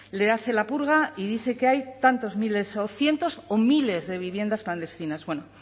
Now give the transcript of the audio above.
le hace la purga y dice que hay tantos miles o cientos o miles de viviendas clandestinas bueno